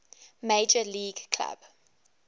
major league club